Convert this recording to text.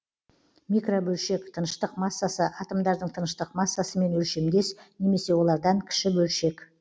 микробөлшек тыныштық массасы атомдардың тыныштық массасымен өлшемдес немесе олардан кіші бөлшек